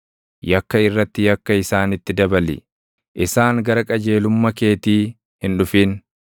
Yakka irratti yakka isaanitti dabali; isaan gara qajeelumma keetii hin dhufin.